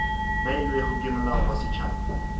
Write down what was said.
beilwego ke molao wa setšhaba